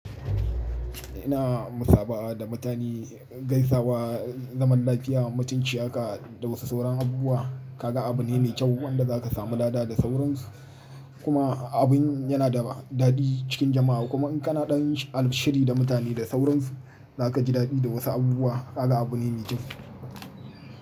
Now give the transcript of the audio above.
Ina musaba'a da mutane gaisawa zaman lafiya mutunci haka da wasu sauran abubuwa ka ga abune ne kyau wanda za ka samu lada da sauransu kuma abin yana da dadi cikin jama'a kuma in kana ɗan al shiri da mutane da sauransu za ka ji dadi da wasu abubuwa ka ga abune ne kyau.